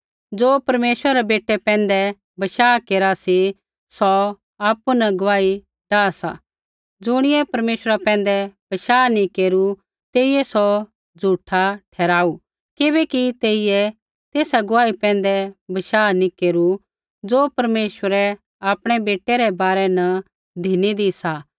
ज़ो परमेश्वर रै बेटै पैंधै बशाह केरा सी सौ आपु न गुआही डाह सा ज़ुणियै परमेश्वरा पैंधै बशाह नैंई केरू तेइयै सौ झूठा ठहराऊ किबैकि तेइयै तेसा गुआही पैंधै बशाह नैंई केरू ज़ो परमेश्वरै आपणै बेटै रै बारै न धिनीदी सा